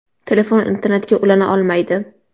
Telefon internetga ulana olmaydi.